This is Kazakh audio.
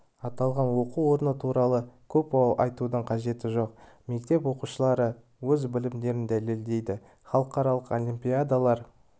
аталған оқу орны туралы көп айтудың қажеті жоқ мектеп оқушылары өз білімдерін дәлелдеді халықаралық олимпиадалар